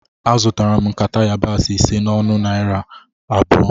Azụtara m nkata yabasị ise a n'ọnụ narị naira abụọ